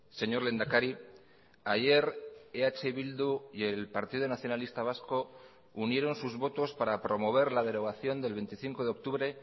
señor lehendakari ayer eh bildu y el partido nacionalista vasco unieron sus votos para promover la derogación del veinticinco de octubre